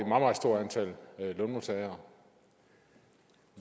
meget stort antal lønmodtagere